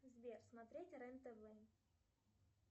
сбер смотреть рен тв